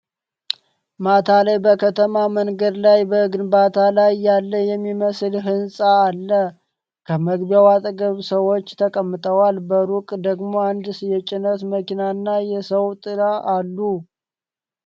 ማታ ላይ በከተማ መንገድ ላይ፣ በግንባታ ላይ ያለ የሚመስል ህንጻ አለ፣ ከመግቢያው አጠገብ ሰዎች ተቀምጠዋል፣ በሩቅ ደግሞ አንድ የጭነት መኪናና የሰው ጥላ አሉ።